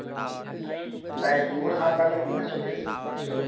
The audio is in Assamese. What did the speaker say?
life টো বহুত হাহাকাৰ লাগি কিনে চলি আছে actually